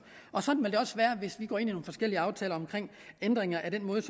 sådan vil det også være hvis vi går ind i nogle forskellige aftaler om ændringer af den måde